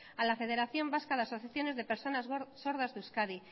a la federación vasca de asociaciones de personas sordas de euskadi